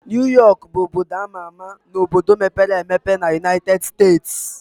New York bụ obodo ama ama na obodo mepere emepe na United States